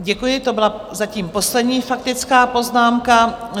Děkuji, to byla zatím poslední faktická poznámka.